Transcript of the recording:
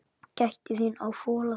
Gættu þín á fóla þessum.